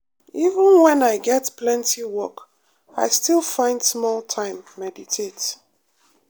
even when i get plenty work i still find small time meditate.